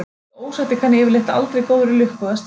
Slíkt ósætti kann yfirleitt aldrei góðri lukka að stýra.